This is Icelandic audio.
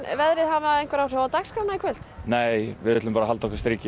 veðrið hafa áhrif á dagskrána í kvöld nei ætlum að halda okkar striki